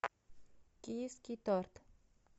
киевский торт